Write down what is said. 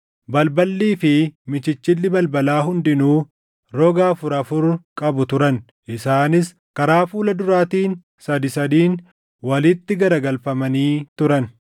Balballii fi michichilli balbalaa hundinuu roga afur afur qabu turan; isaanis karaa fuula duraatiin sadii sadiin walitti garagalfamanii turan.